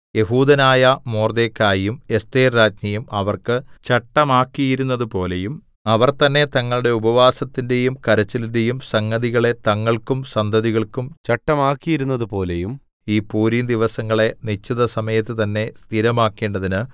യെഹൂദനായ മൊർദെഖായിയും എസ്ഥേർരാജ്ഞിയും അവർക്ക് ചട്ടമാക്കിയിരുന്നതുപോലെയും അവർ തന്നെ തങ്ങളുടെ ഉപവാസത്തിന്റെയും കരച്ചലിന്റെയും സംഗതികളെ തങ്ങൾക്കും സന്തതികൾക്കും ചട്ടമാക്കിയിരുന്നതുപോലെയും ഈ പൂരീംദിവസങ്ങളെ നിശ്ചിത സമയത്ത് തന്നെ സ്ഥിരമാക്കേണ്ടതിന്